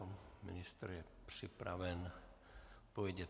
Pan ministr je připraven odpovědět.